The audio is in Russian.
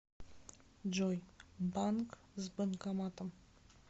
джой банк с банкоматом